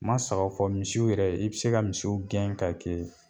N ma saba fɔ misiw yɛrɛ i bi se ka misiw gɛn ka kɛ